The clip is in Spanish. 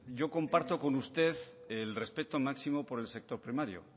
yo comparto con usted el respeto máximo por el sector primario